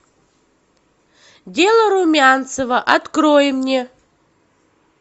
дело румянцева открой мне